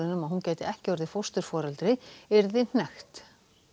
um að hún gæti ekki orðið fósturforeldri yrði hnekkt